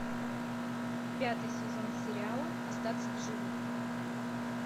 пятый сезон сериала остаться в живых